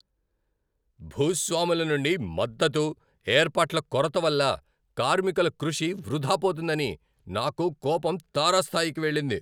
భూస్వాముల నుండి మద్దతు, ఏర్పాట్ల కొరత వల్ల కార్మికుల కృషి వృధా పోతుందని నాకు కోపం తారాస్థాయికి వెళ్ళింది.